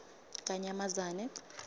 kanyamazane